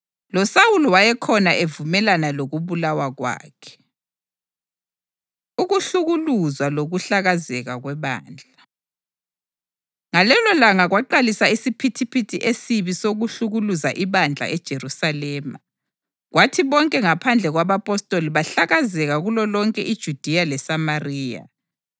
LoSawuli wayekhona evumelana lokubulawa kwakhe. Ukuhlukuluzwa Lokuhlakazeka Kwebandla Ngalelolanga kwaqalisa isiphithiphithi esibi sokuhlukuluza ibandla eJerusalema, kwathi bonke ngaphandle kwabapostoli bahlakazeka kulolonke iJudiya leSamariya.